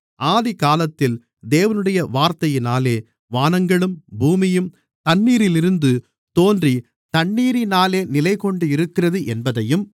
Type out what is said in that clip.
ஆதிகாலத்தில் தேவனுடைய வார்த்தையினாலே வானங்களும் பூமியும் தண்ணீரிலிருந்து தோன்றி தண்ணீரினாலே நிலைகொண்டிருக்கிறது என்பதையும்